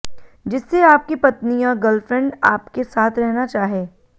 जिससे आपकी पत्नी और गर्लफ्रेंड आपके साथ रहना चाहे